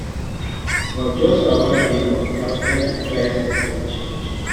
but just about a month afta di prices don change